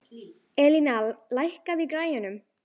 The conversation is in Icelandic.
Elíná, lækkaðu í græjunum.